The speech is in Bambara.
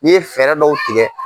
N'i ye fɛɛrɛ dɔw tigɛ.